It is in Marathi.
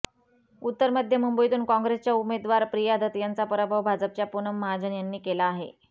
उत्तर मध्य मुंबईतून काँग्रेसच्या उमेदवार प्रिया दत्त यांचा पराभव भाजपच्या पूनम महाजन यांनी केला आहे